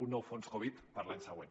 un nou fons covid per a l’any següent